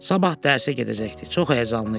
Sabah dərsə gedəcəkdi, çox həyəcanlı idi.